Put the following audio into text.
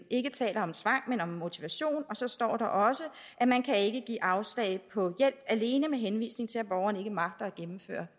ikke taler om tvang men om motivation så står der også at man ikke kan give afslag på hjælp alene med henvisning til at borgeren ikke magter at gennemføre